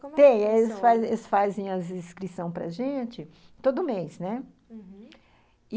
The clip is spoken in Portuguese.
Tem, como é que funciona? eles fazem as inscrições para gente todo mês, né? Uhum.